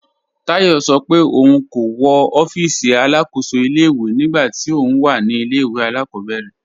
Táyọ̀ sọ́ pé óun kò wọ́ òfíìsí alákóṣò ilẹ̀-ìwé nígbà tí óun wà ní ilẹ̀-ìwé alákọ̀bẹ̀rẹ̀